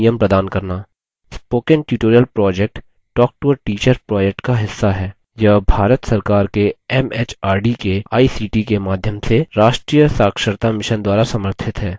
spoken tutorial project talktoateacher project का हिस्सा है यह भारत सरकार के एमएचआरडी के आईसीटी के माध्यम से राष्ट्रीय साक्षरता mission द्वारा समर्थित है